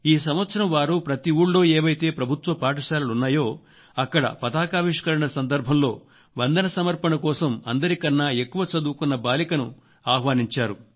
ఈ సంవత్సరం వారు ప్రతి ఊళ్ళో ఏవైతే ప్రభుత్వ పాఠశాలలున్నాయో అక్కడ పతాకావిష్కరణ సందర్భంలో వందన సమర్పణ కోసం అందరికన్నా ఎక్కువ చదువుకున్న బాలికను ఆహ్వానించారు